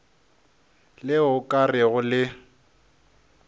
le o ka rego le